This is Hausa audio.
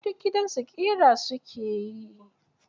Ai duk gidansu ƙira su ke yi.